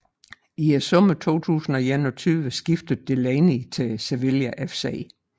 I sommeren 2021 skiftede Delaney til Sevilla FC